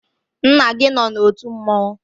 Nna gi no na otu mmanwụ?